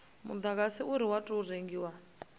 mudagasi une wa tou rengiwa